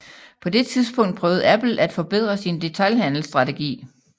På det tidspunkt prøvede Apple at forbedre sin detailhandelsstrategi